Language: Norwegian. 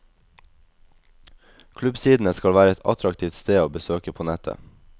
Klubbsidene skal være et attraktivt sted å besøke på nettet.